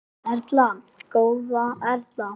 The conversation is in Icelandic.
Erla góða Erla.